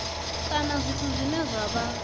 kana zwithu zwine zwa vha